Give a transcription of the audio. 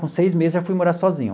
Com seis meses, já fui morar sozinho.